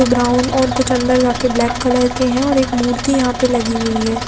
Brown और कुछ अंदर जा करके ब्लैक कलर के है और एक मूर्ति यहाँ पर लगी हुयी है ।